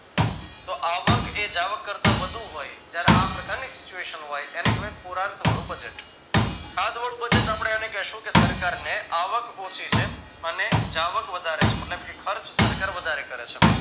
તો આવક એ જાવક કરતા વધુ હોય જયારે આ પ્રકારની situation હોય એને કહેવાય પુરાંતવાળું budget ખાધવાળું budget આપણે એને કહેશું કે સરકારને આવક ઓછી છે અને જાવક વધારે છે મતલબ કે ખર્ચ સરકાર વધારે કરે છે.